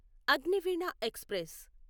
Agniveena express